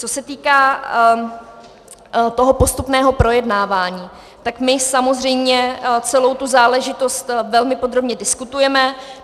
Co se týká toho postupného projednávání, tak my samozřejmě celou tu záležitost velmi podrobně diskutujeme.